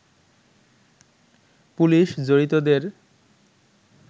police জড়িতদের